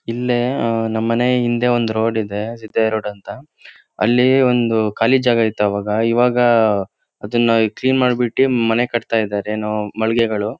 ಇಲ್ಲಿ ಆಹ್ಹ್ ನಮ್ ಮನೆ ಹಿಂದೆ ಒಂದು ರೋಡ್ ಇದೆ ಸಿದ್ದಯ್ಯ ರೋಡ್ ಅಂತ. ಅಲ್ಲಿ ಒಂದು ಖಾಲಿ ಜಾಗ ಇತ್ತು ಅವಾಗ ಇವಾಗ ಆಹ್ ಅದನ್ನ ಕ್ಲೀನ್ ಮಾಡ್ಬಿಟ್ಟಿ ಮನೆ ಕಟತಾ ಇದಾರೆ ಏನೋ ಮಳಿಗೆಗಳು.